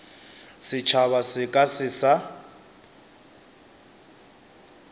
setšhaba se ka se sa